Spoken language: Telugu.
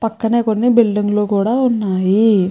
పక్కన కొన్ని బిల్డింగ్ లు కూడా ఉన్నాయి.